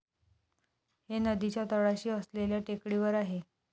हे नदीच्या तळाशी असलेल्या टेकडीवर आहे.